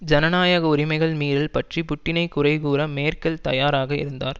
ஜனநாயக உரிமைகள் மீறல் பற்றி புட்டினை குறைகூற மேர்க்கெல் தயாராக இருந்தார்